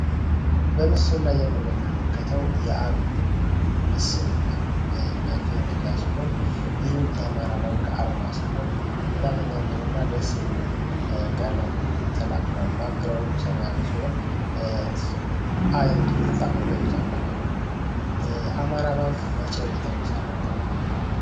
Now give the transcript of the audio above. ይህ በምስሉ ላይ የምንመለከተው የዓለም መሰል ወይም መገለጫ ሲሆን ይህም የአማራ ባንክ አርማ ሲሆን በጣም የሚያምርና ደስ የሚል ቃለምልልሱ ሰማያዊ ሲሆን አማራ ባንክ መቼ ነው የተመሠረተው?